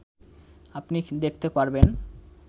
আপনি দেখতে পারবেন